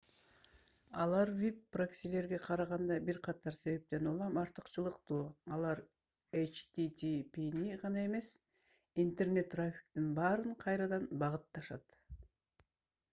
алар веб проксилерге караганда бир катар себептен улам артыкчылыктуу: алар http’ни гана эмес интернет трафиктин баарын кайрадан багытташат